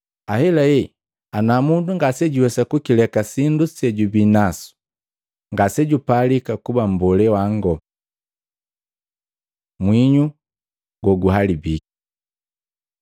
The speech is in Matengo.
Ahelahe, ana mundu ngase juwesa kukileka sindu sejubii nasu ngasejupalika kuba mbolee wango.” Mwinyu goguhalabiki Matei 5:13; Maluko 9:50